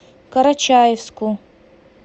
карачаевску